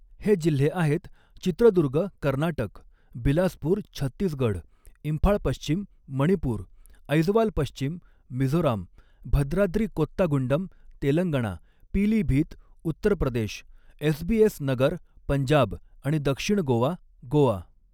हे जिल्हे आहेत चित्रदुर्ग कर्नाटक, बिलासपूर छत्तीसगढ, इम्फाळ पश्चिम मणिपूर ऐजवाल पश्चिम मिझोराम, भद्राद्री कोत्तागुंडम तेलंगणा पीलीभीत उत्तरप्रदेश एसबीएस नगर पंजाब आणि दक्षिण गोवा गोवा.